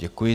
Děkuji.